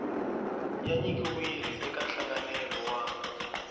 ya nyikiwile eka nhlanganelo wa